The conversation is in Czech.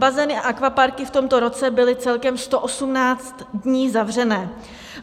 Bazény a akvaparky v tomto roce byly celkem 118 dní zavřené.